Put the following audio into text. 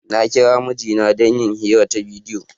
Na kira mijina don yin hira ta bidiyo.